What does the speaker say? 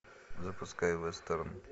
запускай вестерн